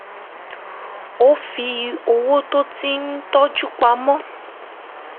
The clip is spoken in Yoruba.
ó fi owó tó ti tọ́jú pa mọ́